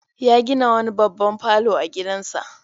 Ya gina wani babban falo a gidansa.